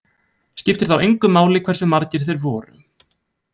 Skiptir þá engu máli hversu margir þeir voru.